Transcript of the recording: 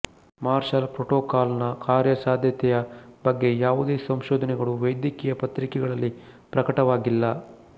marshal protocol ನ ಕಾರ್ಯಸಾಧ್ಯತೆಯ ಬಗ್ಗೆ ಯಾವುದೇ ಸಂಶೋಧನೆಗಳು ವೈದ್ಯಕೀಯ ಪತ್ರಿಕೆಗಳಲ್ಲಿ ಪ್ರಕಟವಾಗಿಲ್ಲ